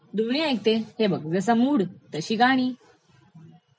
दोन्ही ऐकते, हे बघ जसा मूड तशी गाणी